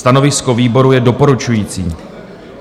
Stanovisko výboru je doporučující.